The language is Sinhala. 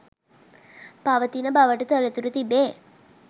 පවතින බවට තොරතුරු තිබේ